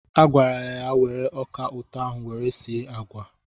Agwara ya were ọka ụtọ ahụ were sie agwa!